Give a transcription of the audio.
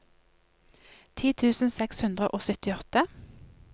ti tusen seks hundre og syttiåtte